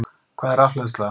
Hvað er rafhleðsla?